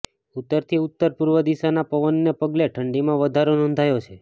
ઉત્તરથી ઉત્તરપૂર્વ દિશાના પવનને પગલે ઠંડીમાં વધારો નોંધાયો છે